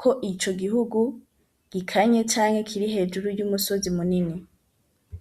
ko ico gihugu gikanye canke kiri hejuru y'umusozi munene.